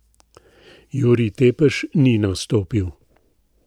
Jurij Tepeš ni nastopil.